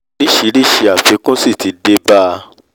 orísìírísìí àfikún sì ti dé bá a